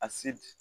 A se